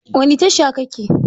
Wani tasha ka ke?